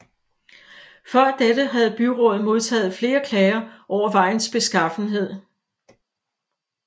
Før dette havde byrådet modtaget flere klager over vejens beskaffenhed